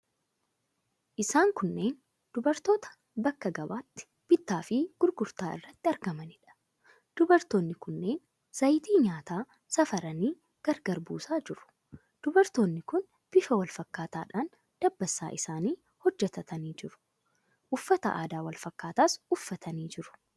Isaan kunneen dubartoota bakka gabaatti bittaa fi gurgurtaa irratti argamaniidha. Dubartoonni kunneen zayitii nyaataa safaranii gargar buusaa jiru. Dubartoonni kun bifa wal fakkaataadhaan dabbasaa isaanii hojjetatanii jiru. Uffata aadaa wal fakkaataas uffatanii jiru.